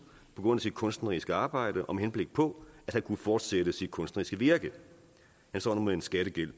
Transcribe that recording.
på grund af sit kunstneriske arbejde og med henblik på at han kunne fortsætte sit kunstneriske virke han står nu med en skattegæld